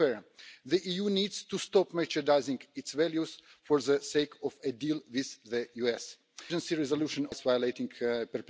within this Chamber? We need to improve relations with the United States of America, but let us start by taking a lead ourselves.